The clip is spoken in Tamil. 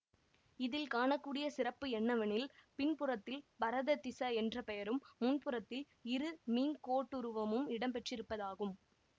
இதில் காணக்கூடிய சிறப்பு என்னவெனில் பின்புறத்தில் பரததிஸ என்ற பெயரும் முன்புறத்தில் இரு மீன்கோட்டுருவமும் இடம்பெற்றிருப்பதாகும்